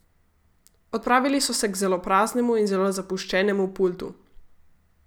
Odpravili so se k zelo praznemu in zelo zapuščenemu pultu.